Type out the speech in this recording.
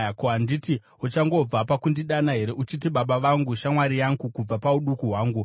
Ko, handiti uchangobva pakundidana here uchiti, ‘Baba vangu, shamwari yangu kubva pauduku hwangu,